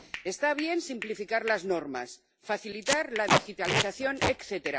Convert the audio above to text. Está bien simplificar las normas, facilitar la digitalización, etc.